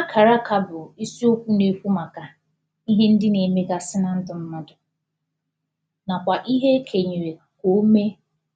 Akarà akà bụ̀ i di okwu na-ekwu makà ihe ndị na-emegasị̀ na ndụ mmadụ̀ nakwà ihe ekenyerè ka omè